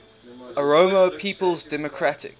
oromo people's democratic